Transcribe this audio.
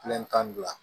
tan ni fila